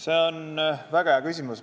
See on väga hea küsimus.